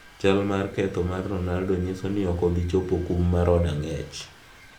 Chal mar ketho mar Ronaldo nyiso ni ok obi chopo kum mar od ang'ech.